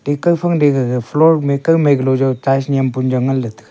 ee kawfang da gaga floor ma kawmai kalo jaw tiles nyem puning jaw nganley taga.